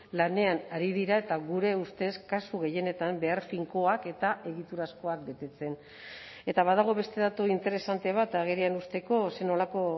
lanean ari dira eta gure ustez kasu gehienetan behar finkoak eta egiturazkoak betetzen eta badago beste datu interesante bat agerian uzteko zer nolako